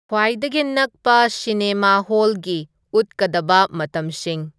ꯈ꯭ꯋꯥꯏꯗꯒꯤ ꯅꯛꯄ ꯁꯤꯅꯦꯃꯥ ꯍꯣꯜꯒꯤ ꯎꯠꯀꯗꯕ ꯃꯇꯝꯁꯤꯡ